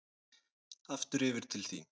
Aftur yfir til þín.